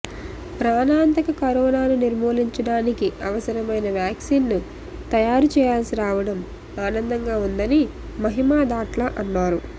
ప్రాణాంతక కరోనాను నిర్మూలించడానికి అవసరమైన వ్యాక్సిన్ను తయారు చేయాల్సి రావడం ఆనందంగా ఉందని మహిమా దాట్ల అన్నారు